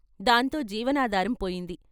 దాంతో జీవనాధారం పోయింది.